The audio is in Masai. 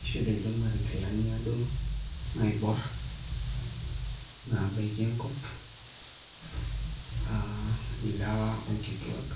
Iishop ilchumari nkilani aadoru naiborr naabaiki enkop aa ilewa oo nkituaak,